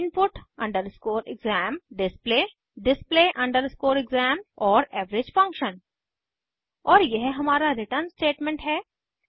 gdinput input exam display display exam और average function और यह हमारा रिटर्न स्टेटमेंट है